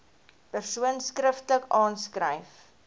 persoon skriftelik aanskryf